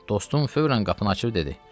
Dostum fövrən qapını açıb dedi: